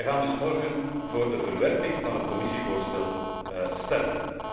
Wij gaan dus morgen vóór verwerping van het Commissievoorstel stemmen.